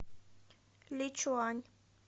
личуань